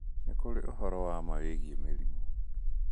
Nĩ kũrĩ ũhoro wa ma wĩgiĩ mĩrimũ.